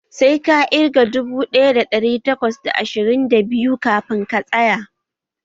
Sai ka ƙirga dubu ɗaya da ɗari takwas da ashirin da biyu kafin ka tsaya!